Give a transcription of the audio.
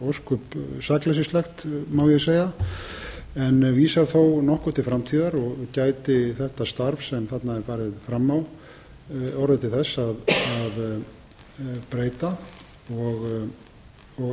ósköp sakleysislegt má ég segja en vísar þó nokkuð til framtíðar og gæti þetta starf sem þarna er farið fram á orðið til þess að breyta og